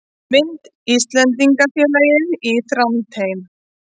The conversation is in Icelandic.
Mynd: Íslendingafélagið í Þrándheimi